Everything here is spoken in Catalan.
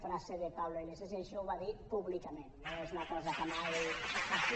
frase de pablo iglesias i això ho va dir públicament no es una cosa que mai